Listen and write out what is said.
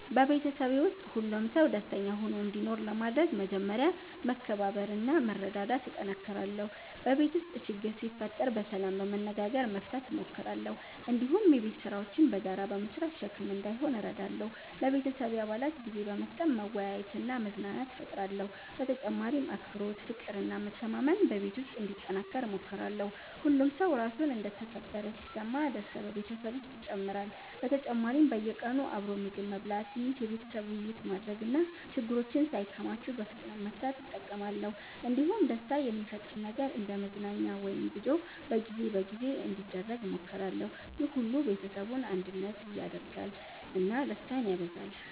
በቤተሰቤ ውስጥ ሁሉም ሰው ደስተኛ ሆኖ እንዲኖር ለማድረግ መጀመሪያ መከባበርና መረዳዳት እጠነክራለሁ። በቤት ውስጥ ችግር ሲፈጠር በሰላም በመነጋገር መፍታት እሞክራለሁ። እንዲሁም የቤት ስራዎችን በጋራ በመስራት ሸክም እንዳይሆን እረዳለሁ። ለቤተሰቤ አባላት ጊዜ በመስጠት መወያየትና መዝናናት እፈጥራለሁ። በተጨማሪም አክብሮት፣ ፍቅር እና መተማመን በቤት ውስጥ እንዲጠናከር እሞክራለሁ። ሁሉም ሰው ራሱን እንደ ተከበረ ሲሰማ ደስታ በቤተሰብ ውስጥ ይጨምራል። በተጨማሪም በየቀኑ አብሮ ምግብ መብላት፣ ትንሽ የቤተሰብ ውይይት ማድረግ እና ችግሮችን ሳይከማቹ በፍጥነት መፍታት እጠቀማለሁ። እንዲሁም ደስታ የሚፈጥር ነገር እንደ መዝናኛ ወይም ጉዞ በጊዜ በጊዜ እንዲደረግ እሞክራለሁ። ይህ ሁሉ ቤተሰቡን አንድነት ያደርጋል እና ደስታን ያበዛል።